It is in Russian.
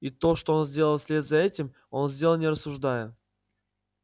и то что он сделал вслед за этим он сделал не рассуждая